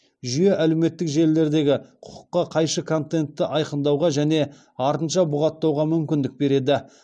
жүйе әлеуметтік желілердегі құқыққа қайшы контентті айқындауға және артынша бұғаттауға мүмкіндік береді